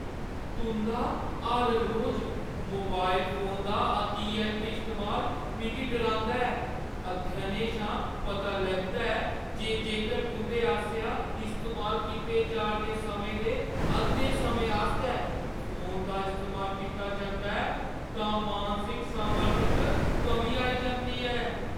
तुंʼदा हर रोज मोबाइल फोन दा अतिऐंत्त इस्तेमाल मिगी डरांदा ऐ। अध्ययनें शा पता लग्गा ऐ जे जेकर तुंʼदे आसेआ इस्तेमाल कीते जा 'रदे समें दे अद्धें समें आस्तै फोन दा इस्तेमाल कीता जंदा ऐ तां मानसिक समर्थ च कमी आई जंदी ऐ।